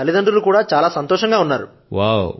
నా తల్లితండ్రులు కూడా చాలా సంతోషం గా ఉన్నారు